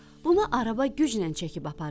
Bunu araba güclə çəkib aparır.